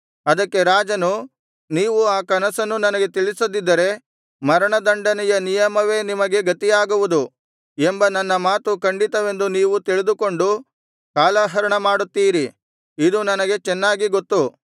ಅದಕ್ಕೆ ರಾಜನು ನೀವು ಆ ಕನಸನ್ನು ನನಗೆ ತಿಳಿಸದಿದ್ದರೆ ಮರಣದಂಡನೆಯ ನಿಯಮವೇ ನಿಮಗೆ ಗತಿಯಾಗುವುದು ಎಂಬ ನನ್ನ ಮಾತು ಖಂಡಿತವೆಂದು ನೀವು ತಿಳಿದುಕೊಂಡು ಕಾಲಹರಣ ಮಾಡುತ್ತಿದ್ದೀರಿ ಇದು ನನಗೆ ಚೆನ್ನಾಗಿ ಗೊತ್ತು